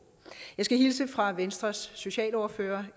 jeg skal i øvrigt hilse fra venstres socialordfører